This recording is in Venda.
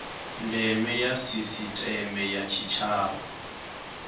ndeme ya sisiteme ya tshitshavha